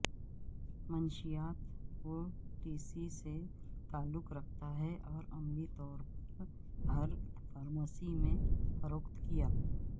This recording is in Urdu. منشیات وٹیسی سے تعلق رکھتا ہے اور عملی طور پر ہر فارمیسی میں فروخت کیا